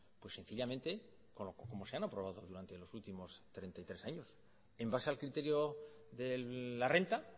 pues sencillamente como se han aprobado durante los últimos treinta y tres años en base al criterio de la renta